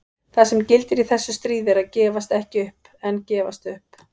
Það sem gildir í þessu stríði er að gefast ekki upp en gefast upp.